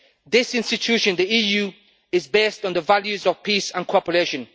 This institution the EU is based on the values of peace and cooperation.